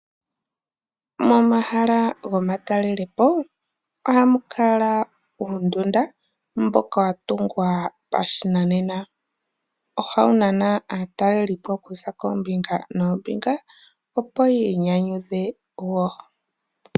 Momahala goma talelepo ohamu kala uundunda mboka wa tungwa pashi nanena. Ohawu nana aatalelipo kuza koombinga noombinga . Opo yii nyanyudhe woo.